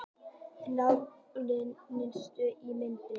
Jafntefli niðurstaðan í Mýrinni